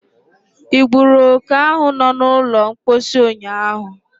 Ị gburu oke ahų no n'ụlọ mposi ụnyaahụ?